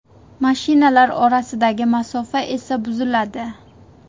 Mashinalar orasidagi masofa esa buziladi.